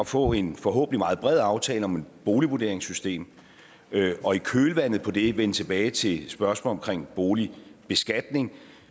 få en forhåbentlig meget bred aftale om boligvurderingssystemet og i kølvandet på det vende tilbage til spørgsmålet om boligbeskatning